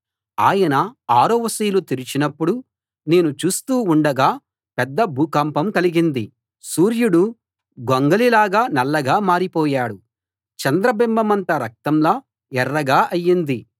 ఆయన ఆరవ సీలు తెరిచినప్పుడు నేను చూస్తూ ఉండగా పెద్ద భూకంపం కలిగింది సూర్యుడు గొంగళిలాగా నల్లగా మారిపోయాడు చంద్రబింబమంతా రక్తంలా ఎర్రగా అయింది